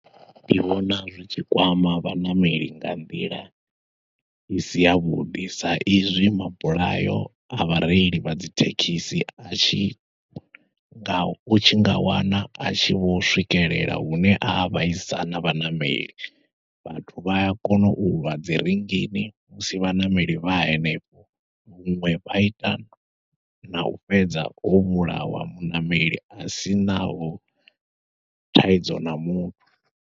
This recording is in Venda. Ndi vhona zwi tshi kwama vhaṋameli nga nḓila isi yavhuḓi, sa izwi mabulayo a vhareili vha dzi thekhisi atshi nga utshi nga wana atshi vho swikelela hune a vhaisa na vhaṋameli, vhathu vha a kona ulwa dzi rinngini musi vhaṋameli vha henefho, huṅwe vha ita nau fhedza ho vhulawa muṋameli asinaho thaidzo na muthu.